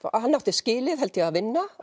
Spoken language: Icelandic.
hann átti skilið held ég að vinna